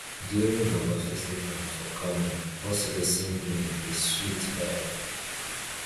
during durbar festival for kano horse racing game dey sweet die